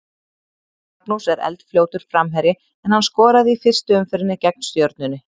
Magnús er eldfljótur framherji en hann skoraði í fyrstu umferðinni gegn Stjörnunni.